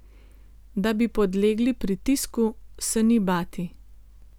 Da bi podlegli pritisku, se ni bati.